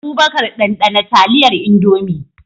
Abubakar, ɗanɗana taliyar Indomie.